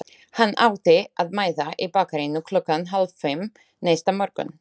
Hann átti að mæta í bakaríinu klukkan hálffimm næsta morgun.